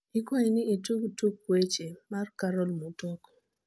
ikwai ni itug tuk weche mar carol mutoko